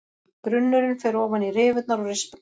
Grunnurinn fer ofan í rifurnar og rispurnar.